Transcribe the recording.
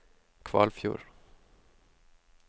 Kvalfjord